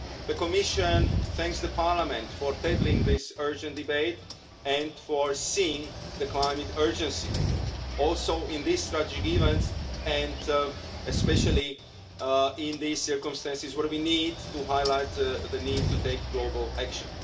The Commission thanks the Parliament for tabling this urgent debate and for seeing the climate urgency in these tragic events and especially in these circumstances, where we need to highlight the need to take global action.